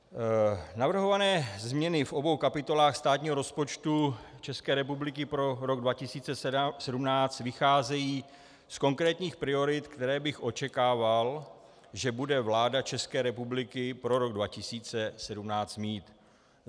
Navrhované změny v obou kapitolách státního rozpočtu České republiky pro rok 2017 vycházejí z konkrétních priorit, které bych očekával, že bude vláda České republiky pro rok 2017 mít.